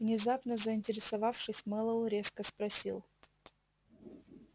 внезапно заинтересовавшись мэллоу резко спросил